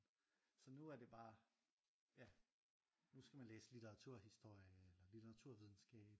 Så nu er det bare ja nu skal man læse littraturhistorie eller litteraturvidenskab